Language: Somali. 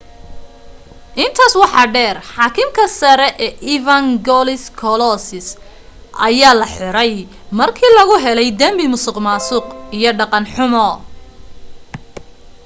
intaas waxa dheer xaakimka sare ee evangelos kalousis ayaa la xiray markii lagu helay dambi musuqmaasuq iyo dhaqan xumo